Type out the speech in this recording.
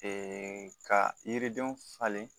ka yiridenw falen